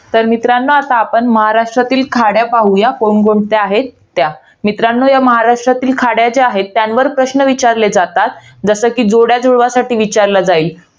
तर मित्रांनो, आता आपण महाराष्ट्रातील खाड्या पाहूयात कोणकोणत्या आहेत त्या. मित्रांनो या महारष्ट्रातील खाड्या ज्या आहेत. त्यांवर प्रश्न विचारले जातात. जसं कि जोड्या जुळवासाठी विचारलं जाईल.